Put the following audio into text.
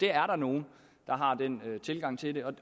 er nogle der har den tilgang til det